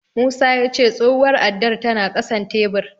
Musa ya ce tsohuwar addar tana ƙasan tebur.